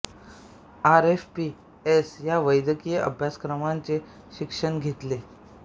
R F P S या वैद्यकीय अभ्यासक्रमांचे शिक्षण घेतले